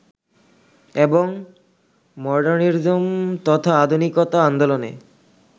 এবং মডার্নিজম তথা আধুনিকতা আন্দোলনে